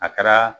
A kɛra